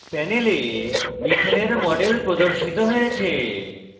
panel methane methane এর model প্রদর্শিত হয়েছে